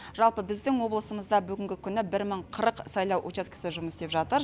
жалпы біздің облысымызда бүгінгі күні бір мың қырық сайлау учаскесі жұмыс істеп жатыр